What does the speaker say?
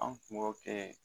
An kun b'o kɛ